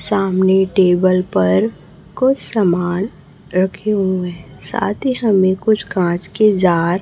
सामने टेबल पर कुछ सामान रखे हुए हैं साथी हमें कुछ कांच की जार --